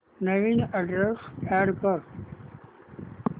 नवीन address add कर